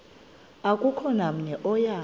akukho namnye oya